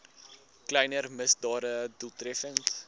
kleiner misdade doeltreffend